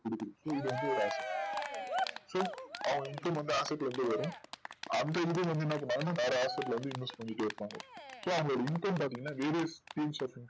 so அவங்க increamentoffice ல இருந்து வரும் அந்த increment என்ன பண்ணுவாங்கனா வேற office க்கு inverse பண்ணிட்டே இருப்பாங்க so அந்த income பாத்திங்கன்னா வீடே